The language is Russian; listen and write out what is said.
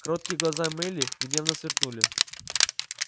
кроткие глаза мелли гневно сверкнули